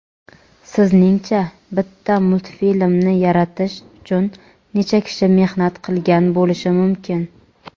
Sizningcha bitta multfilmni yaratish uchun necha kishi mehnat qilgan bo‘lishi mumkin.